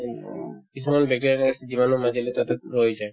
উম, কিছুমান bacteria এনেকুৱা আছে যিমানো মাৰিলে তাতে ৰৈয়ে যায়